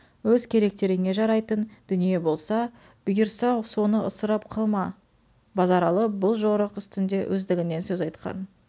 өз керектеріңе жарайтын дүние болса бүйырса соны ысырап қылма базаралы бұл жорық үстінде өздігінен сөз айтқан